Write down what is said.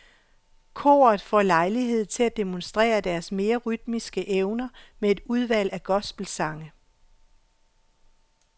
Koret får lejlighed til at demonstrere deres mere rytmiske evner med et udvalg af gospelsange.